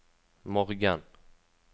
morgen